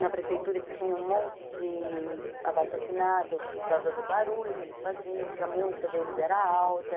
na prefeitura que tinha um monte de abaixo-assinado por causa do barulho que eles faziam, porque a música deles era alta.